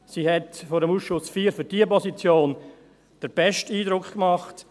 Sie hat vor dem Ausschuss IV für diese Position den besten Eindruck gemacht.